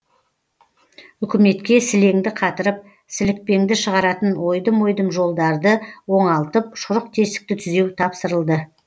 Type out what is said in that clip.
үкіметке сілеңді қатырып сілікпеңді шығаратын ойдым ойдым жолдарды оңалтып шұрық тесікті түзеу тапсырылды